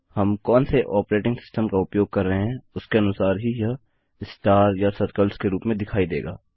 हम कौन से ऑपरेटिंग सिस्टम का उपयोग कर रहे हैं उसके अनुसार ही यह स्टार या सर्कल्स के रूप में दिखाई देगा